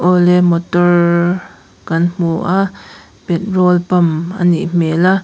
awle motor kan hmu a petrol pump a nih hmel a.